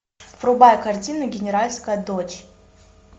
врубай картину генеральская дочь